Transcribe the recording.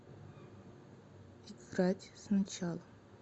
играть сначала